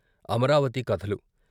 అమరావతి కథలు